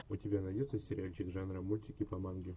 у тебя найдется сериальчик жанра мультики по манге